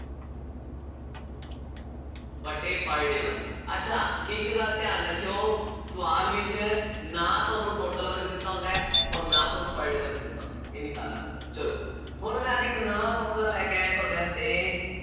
ਵਟੇ per day work, ਅੱਛਾ ਇੱਕ ਗੱਲ ਧਿਆਨ ਰੱਖਿਉ, ਸਵਾਲ ਵਿੱਚ ਨਾ ਤੁਹਾਨੂੰ total work ਦਿੱਤਾ ਹੁੰਦਾ ਹੈ, ਅੋਰ ਨਾ ਤੁਹਾਨੂੰ per day work ਦਿੱਤਾ ਹੁੰਦਾ ਹੈ, ਇਹ ਨਿਕਾਲਣਾ ਪਏਗਾ, ਚੱਲੋ, ਹੁਣ ਮੈਂ ਅੱਜ ਇੱਕ ਨਵਾਂ formula ਲੈ ਕੇ ਆਇਆਂ, ਤੁਹਾਡੇ ਵਾਸਤੇ